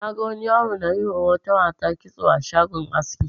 Na ga wani yaro na yi ma wata mata kitso a shagon aski.